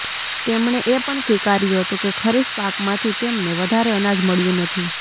તેમણે એ પણ સ્વીકાર્યું હતું કે ખરીફ પાકમાંથી તેમને વધારે અનાજ મળ્યું નથી